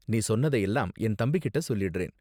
நீ சொன்னத எல்லாம் என் தம்பிகிட்ட சொல்லிடுறேன்.